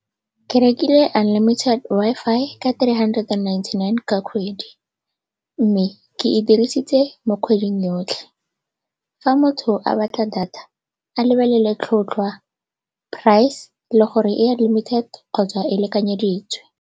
Ke rekile unlimited Wi-Fi ka three hundred and ninety-nine ka kgwedi mme ke e dirisitse mo kgweding yotlhe. Fa motho a batla data, a lebelele tlhotlhwa, price le gore e unlimited kgotsa e lekanyeditswe.